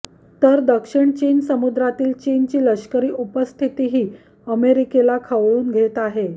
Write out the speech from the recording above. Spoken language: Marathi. तर दक्षिण चीन समुद्रातील चीनची लष्करी उपस्थितीही अमेरिकेला खवळून घेत आहे